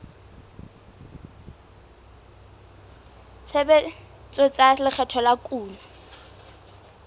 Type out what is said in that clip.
tshebetso tsa lekgetho la kuno